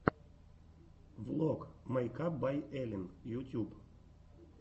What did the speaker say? влог мэйкап бай эллин ютьюб